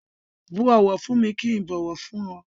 Bú ọ̀wọ̀ fún mi kí ń bọ̀wọ̀ fún ẹ.